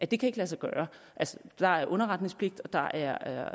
det kan ikke lade sig gøre der er underretningspligt og der er